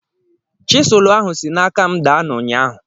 Chiselụ ahụ si n'aka m daa n'ụnyaahụ.